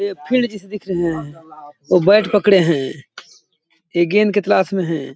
ये फिल्ड जैसे दिख रहे है और बैट पकड़े है ये गेंद के तलाश में है।